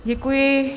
Děkuji.